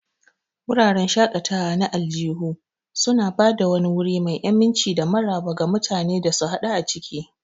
Wuraren shaƙatawa na aljihu suna ba da wani wuri mai aminci da maraba ga mutane su hadu a ciki.